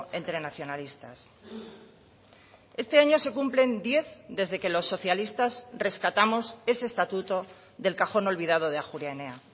entre nacionalistas este año se cumplen diez desde que los socialistas rescatamos ese estatuto del cajón olvidado de ajuria enea